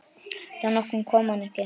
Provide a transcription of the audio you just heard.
Dag nokkurn kom hann ekki.